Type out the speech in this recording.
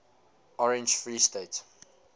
orange free state